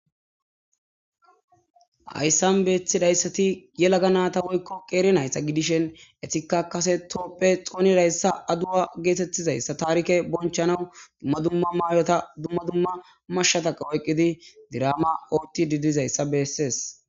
ayssan beethidayssati ye laga naata woykko qeeri nayssa gidishen etika kase toopphe xoonirayssa aduwa geetettizayssa taarike bonchanaw dumma dumma maayota dumma dumma marshshataqa oyqqidi diraama ooti didizayssa beessees